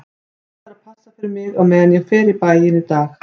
Hann ætlar að passa fyrir mig á meðan ég fer í bæinn í dag